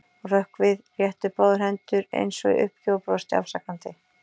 Hún hrökk við, rétti upp báðar hendur eins og í uppgjöf og brosti afsakandi.